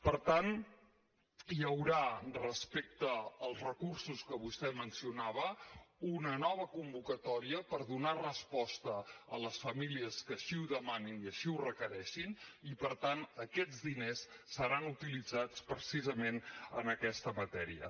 per tant hi haurà respecte als recursos que vostè mencionava una nova convocatòria per donar resposta a les famílies que així ho demanin i així ho requereixin i per tant aquests diners seran utilitzats precisament en aquesta matèria